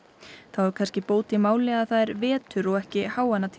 þá er kannski bót í máli að það er vetur og ekki